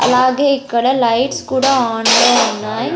అలాగే ఇక్కడ లైట్స్ కూడా ఆన్లో ఉన్నాయ్.